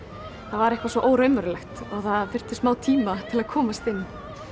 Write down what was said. það var eitthvað svo óraunverulegt og það þurfti smá tíma til að komast inn